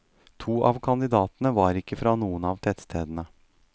To av kandidatene var ikke fra noen av tettstedene.